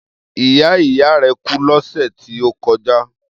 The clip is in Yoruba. Ìyá ìyá rẹ̀ kú lọ́sẹ̀ tí ó kọjá.